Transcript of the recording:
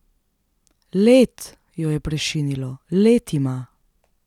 Led, jo je prešinilo, Led ima!